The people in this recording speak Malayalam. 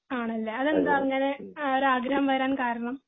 ആണല്ലേ അതെന്താ അങ്ങിനെ ഒരു ആഗ്രഹം വരാൻ കാരണം